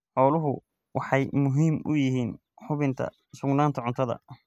Xooluhu waxay muhiim u yihiin hubinta sugnaanta cuntada.